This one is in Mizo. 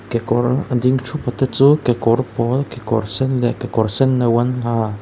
ke kawr a ding thup a te chu kekawr pawl kekawr sen leh kekawr sen no an ha.